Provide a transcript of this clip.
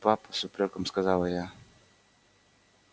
папа с упрёком сказала я